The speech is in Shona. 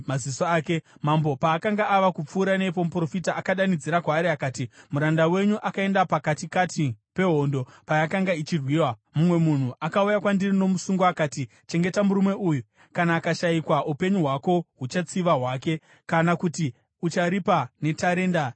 Mambo paakanga ava kupfuura nepo muprofita akadanidzira kwaari akati, “Muranda wenyu akaenda pakatikati pehondo payakanga ichirwiwa, mumwe munhu akauya kwandiri nomusungwa akati, ‘Chengeta murume uyu. Kana akashayikwa upenyu hwako huchatsiva hwake, kana kuti ucharipa netarenda resirivha.’